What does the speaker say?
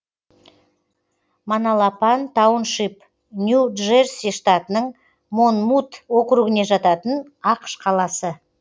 маналапан тауншип нью джерси штатының монмут округіне жататын ақш қаласы